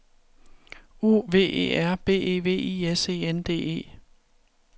O V E R B E V I S E N D E